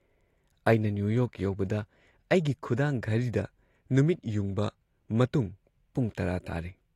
ꯑꯩꯅ New York ꯌꯧꯕꯗ ꯑꯩꯒꯤ ꯈꯨꯗꯥꯡ ꯘꯔꯤꯗ ꯅꯨꯃꯤꯠꯌꯨꯡꯕ ꯃꯇꯨꯡ ꯄꯨꯡ ꯇꯔꯥ ꯇꯥꯔꯦ ꯫